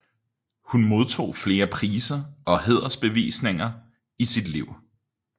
Hun modtog flere priser og hædersbevisninger i sit liv